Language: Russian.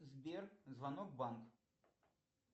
сбер звонок в банк